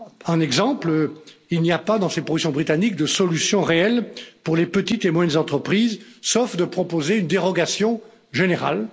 Un exemple il n'y a pas dans ces propositions britanniques de solution réelle pour les petites et moyennes entreprises, sauf de proposer une dérogation générale.